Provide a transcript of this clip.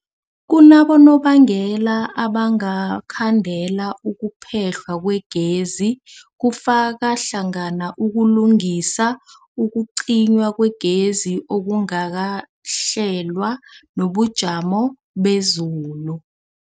Kunabonobangela abangakhandela ukuphehlwa kwegezi, kufaka hlangana ukulungisa, ukucinywa kwegezi okungakahlelwa, nobujamo bezulu.